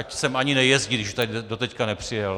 Ať sem ani nejezdí, když už doteď nepřijel.